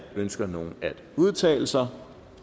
ønsker nogen at udtale sig